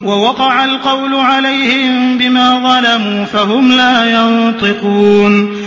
وَوَقَعَ الْقَوْلُ عَلَيْهِم بِمَا ظَلَمُوا فَهُمْ لَا يَنطِقُونَ